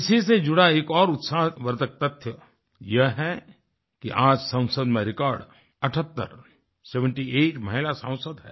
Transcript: इसी से जुड़ा एक और उत्साहवर्धक तथ्य यह है कि आज संसद में रिकॉर्ड 78 सेवेंटी आइट महिला सांसद हैं